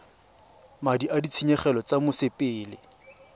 madi a ditshenyegelo tsa mosepele